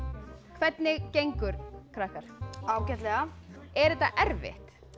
hvernig gengur krakkar ágætlega er þetta erfitt